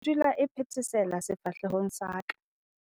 Nthsintshi e dula e phethesela sefahlehong sa ka.